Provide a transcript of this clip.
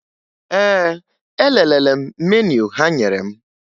Ee, elelere m meniu ha nyere m